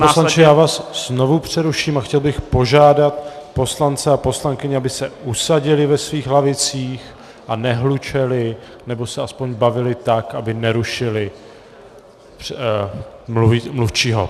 Pane poslanče, já vás znovu přeruším a chtěl bych požádat poslance a poslankyně, aby se usadili ve svých lavicích a nehlučeli, nebo se aspoň bavili tak, aby nerušili mluvčího.